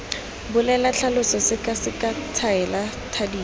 bolela tlhalosa sekaseka tshwaela thadisa